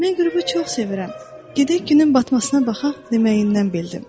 Mən qürubu çox sevirəm, gedək günün batmasına baxaq deməyindən bildim.